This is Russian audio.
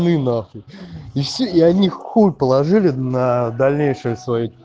ну и на хуй и все и они хуй положили на дальнейшее своё